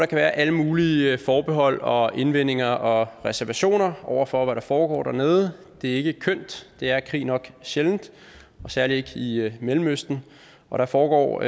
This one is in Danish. kan være alle mulige forbehold og indvendinger og reservationer over for hvad der foregår dernede det er ikke kønt det er krig nok sjældent særlig ikke i mellemøsten og der foregår